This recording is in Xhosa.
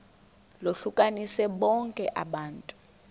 lohlukanise bonke abantu